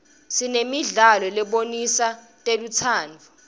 sinanemidlalo lebonisa telutsandvo